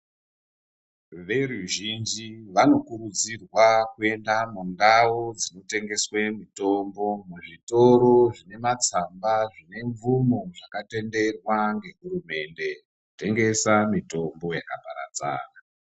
Veruzhinji vanokurudzirwa kuenda mundau dzinotengeswe mitombo-zvitoro zvine matsamba zvine mvumo zvakatenderwa ngehurumende, kutengesa mitombo yakaparadzana.